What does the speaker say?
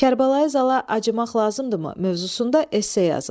Kərbəlayi Zala acımaq lazımdırmı mövzusunda esse yazın.